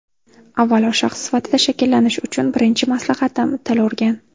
Avvalo shaxs sifatida shakllanish uchun birinchi maslahatim: til o‘rgan.